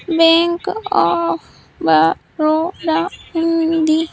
Bank of Baroda ఉంది.